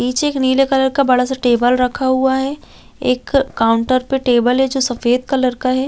पीछे एक नीले कलर का बड़ा- सा टेबल रखा हुआ है एक काउंटर पे टेबल है जो सफेद कलर का हैं ।